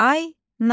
Ayna.